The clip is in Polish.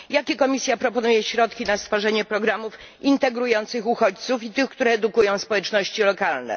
Jakie Komisja proponuje środki na stworzenie programów integrujących uchodźców i tych, które edukują społeczności lokalne?